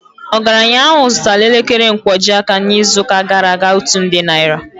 Ogaranya ahụ zụtara elekere nkwojiaka n'izuụka gara aga otu nde naira